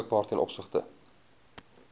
beskikbaar ten opsigte